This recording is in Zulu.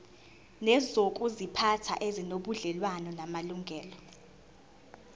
nezokuziphatha ezinobudlelwano namalungelo